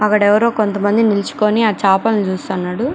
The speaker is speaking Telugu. అక్కడ ఎవరో కొంతమంది నిలుచుకొని ఆ చాపలు చూస్తున్నాడు.